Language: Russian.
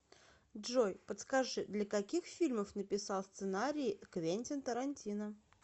джой подскажи для каких фильмов написал сценарии квентин тарантино